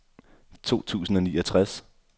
to tusind og niogtres